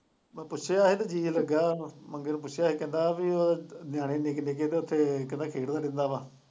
ਮੈਂ ਪੁੱਛਿਆ ਹੀ ਮੰਗੇ ਨੂੰ ਪੁੱਛਿਆ ਹੀ ਕਹਿੰਦਾ ਵੀ ਉਹ ਨਿਆਣੇ ਨਿੱਕੇ ਨਿੱਕੇ ਤੇ ਉੱਥੇ ਕਹਿੰਦਾ ਖੇਡਦਾ ਰਹਿੰਦਾ ਵਾ।